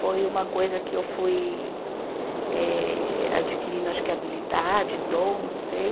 Foi uma coisa que eu fui eh adquirindo acho que habilidade, dom, não sei.